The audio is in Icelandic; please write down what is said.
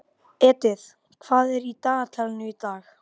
Edith, hvað er á dagatalinu í dag?